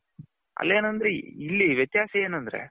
ಅಲ್ಲಿ ಏನಂದ್ರೆ ಇಲ್ಲಿ ವ್ಯತ್ಹಾಸ ಏನಂದ್ರೆ